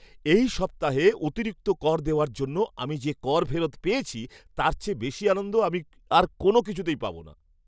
এই সপ্তাহে অতিরিক্ত কর দেওয়ার জন্য আমি যে কর ফেরত পেয়েছি তার চেয়ে বেশি আনন্দ আমি আর কোনও কিছুতেই পাব না।